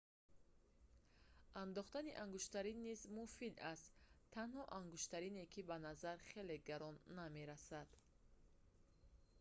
андохтани ангуштарин низ муфид аст танҳо ангуштарине ки ба назар хеле гарон намерасад